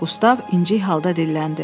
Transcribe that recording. Qustav incik halda dilləndi.